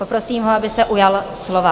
Poprosím ho, aby se ujal slova.